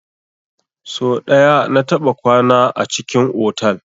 So ɗaya na taɓa kwana a cikin otal.